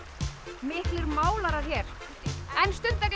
miklir málarar hér en